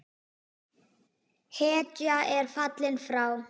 Hetja er fallin frá!